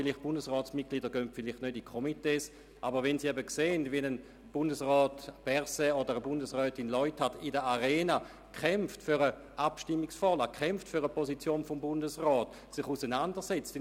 Die Bundesratsmitglieder treten vielleicht nicht einem Komitee bei, aber sehen Sie einmal, wie etwa Bundesrat Berset oder Bundesrätin Leuthard in der Arena für eine Abstimmungsvorlage und für die Position des Gesamtbundesrats kämpfen.